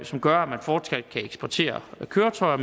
som gør at man fortsat kan eksportere køretøjer